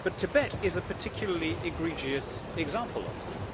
But Tibet is a particularly egregious example of it.